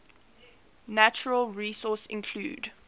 natural resources include